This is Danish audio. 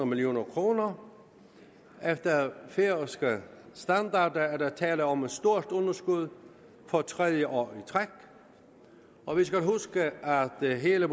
million kroner efter færøske standarder er der tale om et stort underskud for tredje år i træk og vi skal huske at hele